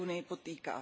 potýká.